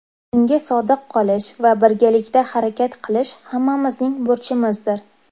Unga sodiq qolish va birgalikda harakat qilish hammamizning burchimizdir.